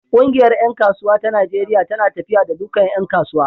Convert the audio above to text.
Ƙungiyar ƴan kasuwa ta Najeriya tana tafiya da dukkan ƴan kasuwa.